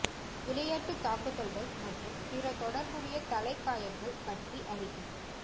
விளையாட்டு தாக்குதல்கள் மற்றும் பிற தொடர்புடைய தலை காயங்கள் பற்றி அறிக